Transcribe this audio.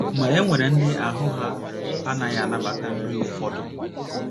Ma, e nwere ndị ahụ́ ha na - anaghị anabata nri ụfọdụ